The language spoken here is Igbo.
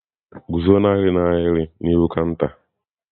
Guzo n'ahịrị ahụ n'ihu kanta!.